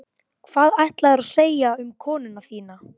Hvað ætlaðirðu að segja um konuna þína?